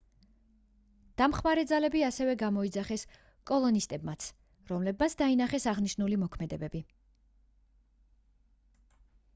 დამხმარე ძალები ასევე გამოიძახეს კოლონისტებმაც რომლებმაც დაინახეს აღნიშნული მოქმედებები